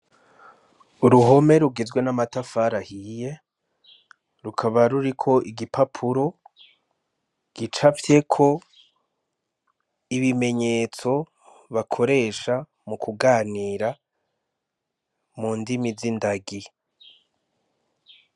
Uruhome rugizwe n’amatafari ahiye rukaba ruriko igipapuro gicafyeko ibimenyetso bakoresha mukuganira mu ndimi zindagi.